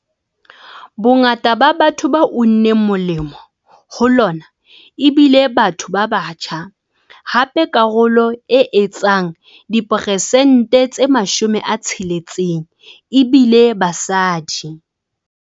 Bongata ba batho ba unneng molemo ho lona e bile batho ba batjha, hape karolo e etsang diperesente tse 60 e bile basadi.